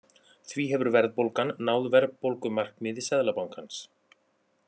Því hefur verðbólgan náð verðbólgumarkmiði Seðlabankans